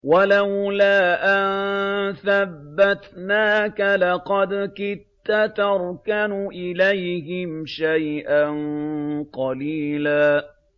وَلَوْلَا أَن ثَبَّتْنَاكَ لَقَدْ كِدتَّ تَرْكَنُ إِلَيْهِمْ شَيْئًا قَلِيلًا